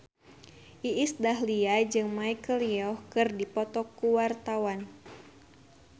Iis Dahlia jeung Michelle Yeoh keur dipoto ku wartawan